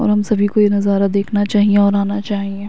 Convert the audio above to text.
और हम सभी को ये नज़ारा देखना चाहिए और आना चाहिए।